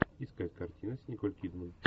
искать картины с николь кидман